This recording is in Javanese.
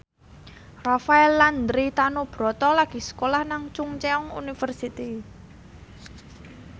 Rafael Landry Tanubrata lagi sekolah nang Chungceong University